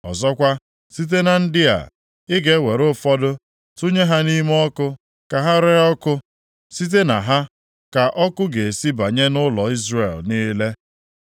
Ọzọkwa, site na ndị a, ị ga-ewere ụfọdụ tụnye ha nʼime ọkụ ka ha ree ọkụ, site na ha ka ọkụ ga-esi banye nʼụlọ Izrel niile.